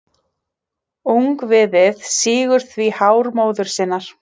Ungviðið sýgur því hár móður sinnar.